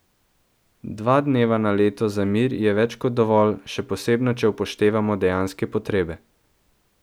Dva dneva na leto za mir je več kot dovolj, še posebno če upoštevamo dejanske potrebe.